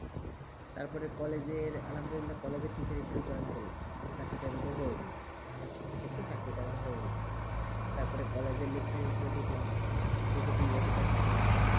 তার পরেx college এর আলামজাইল college এ তে join করলাম চাকরি তা হয়ে গেলো ভাষা শিখতে শিখতে চাকরি তা আবার হয়ে গেলো তার পরে college এ সেই দুখলাম ঢুকে দুই বছর চাকরি করলাম